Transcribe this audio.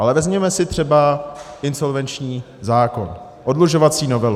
Ale vezměme si třeba insolvenční zákon, oddlužovací novelu.